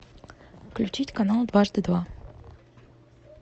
включить канал дважды два